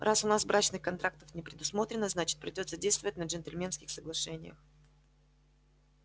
раз у нас брачных контрактов не предусмотрено значит придётся действовать на джентльменских соглашениях